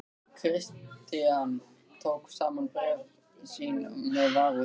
Christian tók saman bréf sín með varúð.